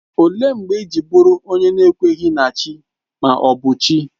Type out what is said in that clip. Ọ léé mgbe iji bụrụ onye n'ekweghi na Chi ma ọ bụ chi?